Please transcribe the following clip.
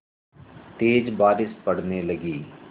तेज़ बारिश पड़ने लगी